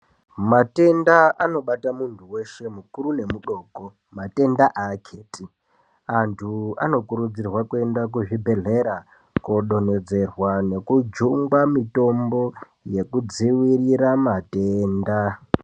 Matenda eshe anobate mundu weshe mukuru nemudoko matenda aketi andu anokuridzirwa kuenda kuzvibhehlera kundodonodzerwa nokujungwa mutombo yekudzivirira matenda